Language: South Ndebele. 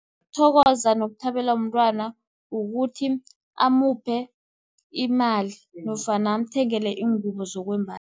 Ukuthokoza nokuthabela umntwana, ukuthi amuphe imali, nofana amthengele iingubo zokwembatha.